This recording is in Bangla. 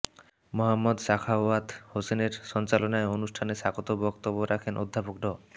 মোহাম্মদ সাখাওয়াত হোসেনের সঞ্চালনায় অনুষ্ঠানে স্বাগত বক্তব্য রাখেন অধ্যাপক ড